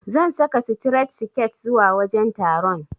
Zan saka sitiret siket zuwa wajen taron.